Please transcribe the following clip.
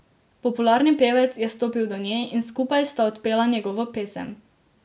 Popularni pevec je stopil do nje in skupaj sta odpela njegovo pesem.